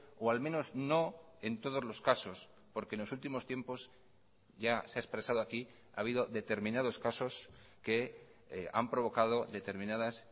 o al menos no en todos los casos porque en los últimos tiempos ya se ha expresado aquí ha habido determinados casos que han provocado determinadas